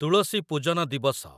ତୁଳସୀ ପୂଜନ ଦିବସ